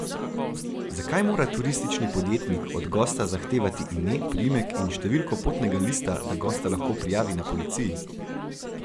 Zakaj mora turistični podjetnik od gosta zahtevati ime, priimek in številko potnega lista, da gosta lahko prijavi na policiji?